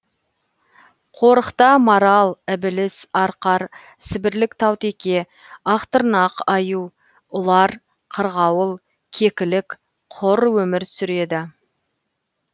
қорықта марал ібіліс арқар сібірлік таутеке ақтырнақ аю ұлар қырғауыл кекілік құр өмір сүреді